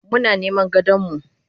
Muna niman gadonmu.